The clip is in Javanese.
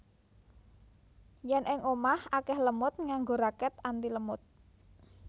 Yen ing omah akeh lemud nganggo raket antilemud